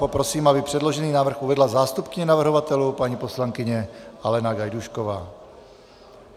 Poprosím, aby předložený návrh uvedla zástupkyně navrhovatelů, paní poslankyně Alena Gajdůšková.